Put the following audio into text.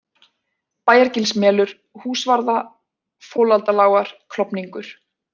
Bæjargilsmelur, Húsvarða, Folaldalágar, Klofningur